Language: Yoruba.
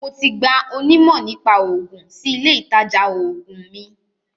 Mo ti gba onímọ̀-nípa-oògun sí ilé-ìtajà oògùn mi.